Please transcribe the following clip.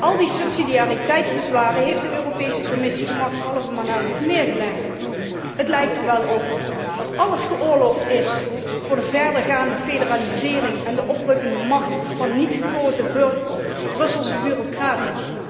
Al die subsidiariteitsbezwaren heeft de Europese Commissie gemakshalve maar naast zich neergelegd. Het lijkt er wel op dat alles geoorloofd is voor de verdergaande federalisering en de oprukkende macht van niet gekozen Brusselse bureaucraten.